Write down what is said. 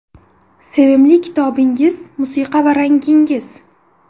Sevimli kitobingiz, musiqa va rangingiz?